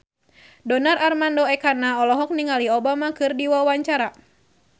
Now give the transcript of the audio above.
Donar Armando Ekana olohok ningali Obama keur diwawancara